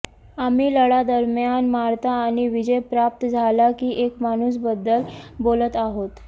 आम्ही लढा दरम्यान मारता आणि विजय प्राप्त झाला की एक माणूस बद्दल बोलत आहोत